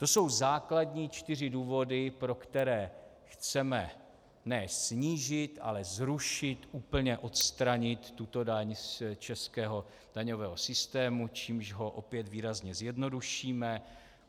To jsou základní čtyři důvody, pro které chceme ne snížit, ale zrušit, úplně odstranit tuto daň z českého daňového systému, čímž ho opět výrazně zjednodušíme.